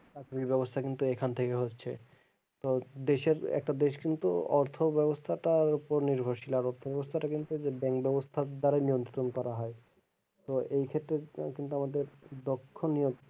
আর্থিক বেবস্থা কিন্তু এখান থেকে হচ্ছে তো দেশের একটা দেশ কিন্তু অর্থ বেবস্থাটার ওপর নির্ভরশীল আর অর্থ বেবস্থাটা কিন্তু এদের bank বেবস্থার দ্বারাই নিয়ন্ত্রন করা হয়।